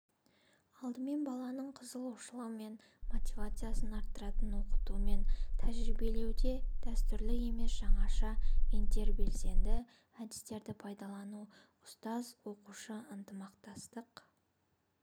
алдымен баланың қызығушылығы мен мотивациясын арттыратын оқыту мен тәрбиелеуде дәстүрлі емес жаңаша интербелсенді әдістерді пайдалану ұстазоқушы ынтымақтастық